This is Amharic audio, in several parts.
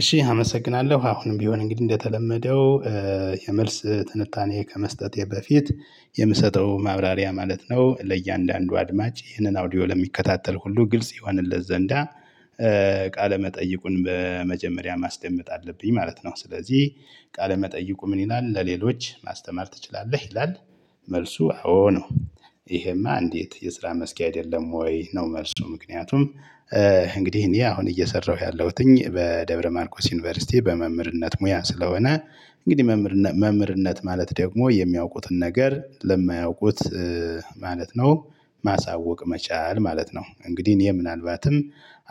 እሺ አመሰግናለሁ አሁንም ቢሆን እንግዲህ እንደተለመደው የመልስ ትንታኔ ከመስጠቴ በፊት የምሰጠው ማብራሪያ ማለት ነው ለእያንዳንዱ አድማጭ ይህንን አውዲዮ ለሚከታተል ሁሉ ግልጽ ይሆንለት ዘንዳ ቃለ መጠይቁን በመጀመሪያ ማስደመጥ አለብኝ ማለት ነው። ስለዚህ ቃለ መጠይቁ ምን ይላል ለሌሎች ማስተማር ትችላለህ ይላል? መልሱ አዎ ነው። ይሄማ እንዴት የስራ መስኬ አይደለም ወይ? ነው መልሱ ምክንያቱም። እንግዲህ እኔ አሁን እየሰራሁ ያለሁትኝ በደብረ ማርኮስ ዩኒቨርሲቲ በመምህርነት ሙያ ስለሆነ እንግዲህ መምህርነት ማለት ደግሞ የሚያውቁትን ነገር ለማያውቁት ማለት ነው። ማሳወቅ መቻል ማለት ነው። እንግዲህ እኔ ምናልባትም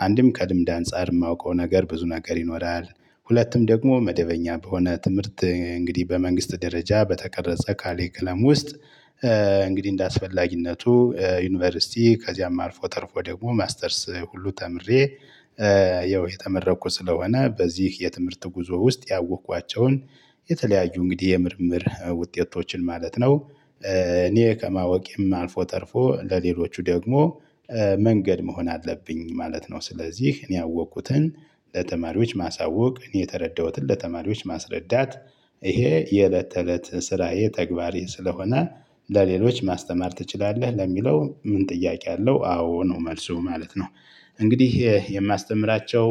አንድም ከልምድ አንፃር የማውቀው ነገር ብዙ ነገር ይኖራል ሁለትም ደግሞ መደበኛ በሆነ ትምህርት እንግዲህ በመንግስት ደረጃ በተቀረጸ ካሪኩለም ውስጥ። እንግዲህ እንደአስፈላጊነቱ ዩኒቨርሲቲ ከዚያም አርፎ ተርፎ ደግሞ ማስተርስ ሁሉ ተምሬ። የተመረቅኩ ስለሆነ በዚህ የትምህርት ጉዞ ውስጥ ያወቅኳቸውን የተለያዩ እንግዲህ የምርምር ውጤቶችን ማለት ነው። እኔ ከማወቄም አልፎ ተርፎ ለሌሎቹ ደግሞ መንገድ መሆን አለብኝ ማለት ነው። ስለዚህ እኔ ያወቅኩትን ለተማሪዎች ማሳወቅ እኔ የተረዳሁትን ለተማሪዎች ማስረዳት ይሄ የእለት ተእለት ስራዬ ተግባሬ ስለሆነ። ለሌሎች ማስተማር ትችላለህ ለሚለው ምን ጥያቄ አለው አዎ ነው መልሱ ማለት ነው። እንግዲህ የማስተምራቸው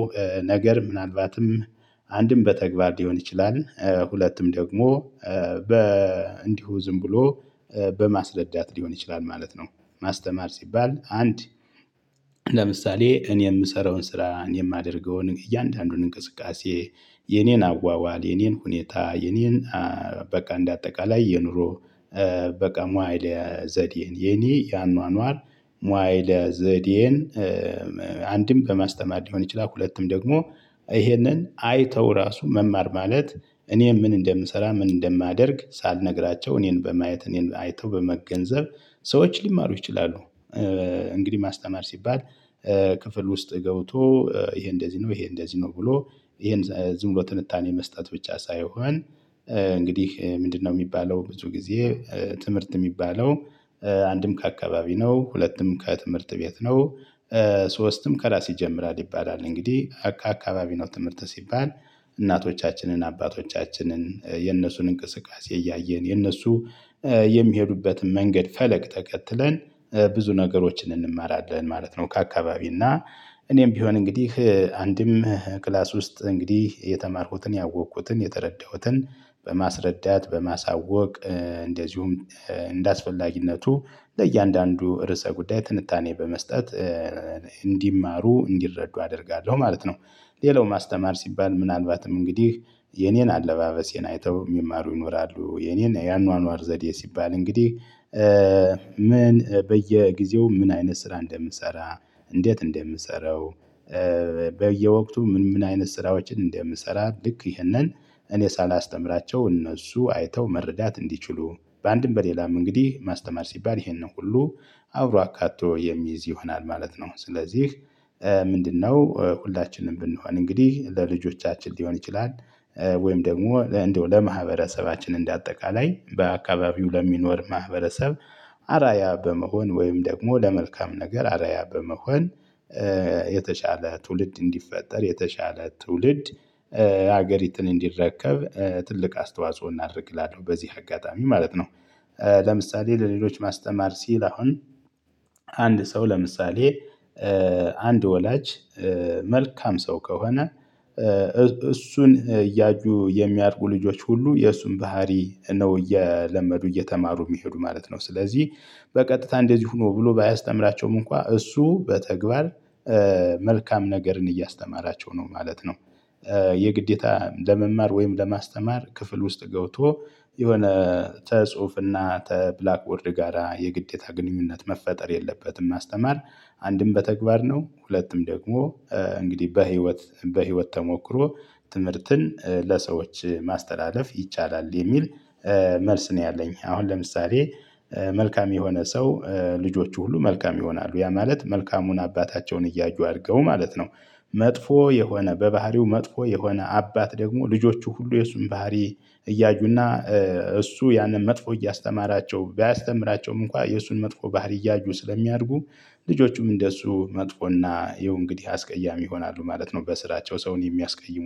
ነገር ምናልባትም አንድም በተግባር ሊሆን ይችላል ሁለትም ደግሞ። እንዲሁ ዝም ብሎ በማስረዳት ሊሆን ይችላል ማለት ነው። ማስተማር ሲባል አንድ ለምሳሌ እኔ የምሰራውን ስራ የማደርገውን እያንዳንዱን እንቅስቃሴ የኔን አዋዋል የኔን ሁኔታ የኔን በቃ እንደ አጠቃላይ የኑሮ በቃ ሞአይለ ዘዴ የኔ የአኗኗር ሞአይለ ዘዴን። አንድም በማስተማር ሊሆን ይችላል ሁለቱም ደግሞ ይሄንን አይተው ራሱ መማር ማለት እኔን ምን እንደምሰራ ምን እንደማደርግ ሳልነግራቸው እኔን በማየት እኔን አይተው በመገንዘብ ሰዎች ሊማሩ ይችላሉ። እንግዲህ ማስተማር ሲባል። ክፍል ውስጥ ገብቶ ይሄ እንደዚህ ነው ይሄ እንደዚህ ነው ብሎ ይሄን ዝም ብሎ ትንታኔ መስጠት ብቻ ሳይሆን እንግዲህ ምንድነው? የሚባለው ብዙ ጊዜ ትምህርት የሚባለው አንድም ከአካባቢ ነው ሁለትም ከትምህርት ቤት ነው። ሶስትም ከራስ ይጀምራል ይባላል እንግዲህ ከአካባቢ ነው ትምህርት ሲባል እናቶቻችንን አባቶቻችንን የነሱን እንቅስቃሴ እያየን የነሱ የሚሄዱበትን መንገድ ፈለግ ተከትለን ብዙ ነገሮችን እንማራለን ማለት ነው። ከአካባቢ እና እኔም ቢሆን እንግዲህ አንድም ክላስ ውስጥ እንግዲህ የተማርኩትን ያወቅኩትን የተረዳሁትን በማስረዳት በማሳወቅ እንደዚሁም እንደአስፈላጊነቱ ለእያንዳንዱ ርዕሰ ጉዳይ ትንታኔ በመስጠት እንዲማሩ እንዲረዱ አደርጋለሁ ማለት ነው። ሌላው ማስተማር ሲባል ምናልባትም እንግዲህ የኔን አለባበሴን አይተው የሚማሩ ይኖራሉ። የኔን የአኗኗር ዘዴ ሲባል እንግዲህ ምን በየጊዜው ምን አይነት ስራ እንደምሰራ እንዴት እንደምሰራው። በየወቅቱ ምን ምን አይነት ስራዎችን እንደምሰራ ልክ ይሄንን እኔ ሳላስተምራቸው እነሱ አይተው መረዳት እንዲችሉ በአንድም በሌላም እንግዲህ ማስተማር ሲባል ይሄንን ሁሉ አብሮ አካቶ የሚይዝ ይሆናል ማለት ነው። ስለዚህ ምንድነው? ሁላችንም ብንሆን እንግዲህ ለልጆቻችን ሊሆን ይችላል ወይም ደግሞ እንደው ለማህበረሰባችን እንደ አጠቃላይ በአካባቢው ለሚኖር ማህበረሰብ አርአያ በመሆን ወይም ደግሞ ለመልካም ነገር አርአያ በመሆን የተሻለ ትውልድ እንዲፈጠር የተሻለ ትውልድ ሀገሪትን እንዲረከብ ትልቅ አስተዋጽኦ እናድርግ እላለሁ በዚህ አጋጣሚ ማለት ነው። ለምሳሌ ለሌሎች ማስተማር ሲል አሁን አንድ ሰው ለምሳሌ አንድ ወላጅ መልካም ሰው ከሆነ እሱን እያዩ የሚያድጉ ልጆች ሁሉ የእሱን ባህሪ ነው እየለመዱ እየተማሩ የሚሄዱ ማለት ነው። ስለዚህ በቀጥታ እንደዚህ ሆኖ ብሎ ባያስተምራቸውም እንኳን እሱ በተግባር መልካም ነገርን እያስተማራቸው ነው ማለት ነው። የግዴታ ለመማር ወይም ለማስተማር ክፍል ውስጥ ገብቶ የሆነ ተጽሁፍና ተብላክ ቦርድ ጋራ የግዴታ ግንኙነት መፈጠር የለበትም። ማስተማር። አንድም በተግባር ነው ሁለቱም ደግሞ እንግዲህ በህይወት በህይወት ተሞክሮ ትምህርትን ለሰዎች ማስተላለፍ ይቻላል የሚል መልስ ነው ያለኝ አሁን ለምሳሌ። መልካም የሆነ ሰው ልጆቹ ሁሉ መልካም ይሆናሉ ያ ማለት መልካሙን አባታቸውን እያዩ አድርገው ማለት ነው። መጥፎ የሆነ በባህሪው መጥፎ የሆነ አባት ደግሞ ልጆቹ ሁሉ የሱን ባህሪ እያዩና እሱ ያንን መጥፎ እያስተማራቸው ባያስተምራቸውም እንኳን የእሱን መጥፎ ባህሪ እያዩ ስለሚያድጉ ልጆቹም እንደሱ መጥፎና ይሄው እንግዲህ አስቀያሚ ይሆናሉ ማለት ነው። በስራቸው ሰውን የሚያስቀይሙ